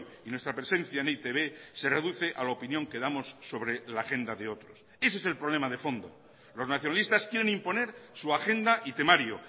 y nuestra presencia en e i te be se reduce a la opinión que damos sobre la agenda de otros ese es el problema de fondo los nacionalistas quieren imponer su agenda y temario